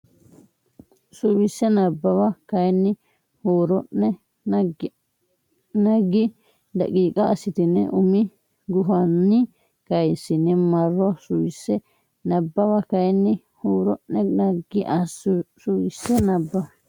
Suwise Nabbawa kayinni huuro ne naggi daqiiqa assitine umi gufonni kayissine marro Suwise Nabbawa kayinni huuro ne naggi Suwise Nabbawa.